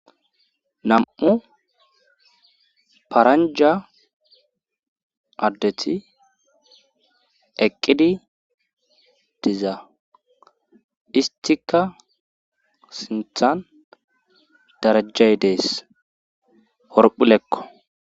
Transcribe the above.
nam7u paranja addeti eqqidi diza istika sinthan darajjay dees horphphilekko